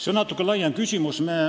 See on natuke laiem küsimus.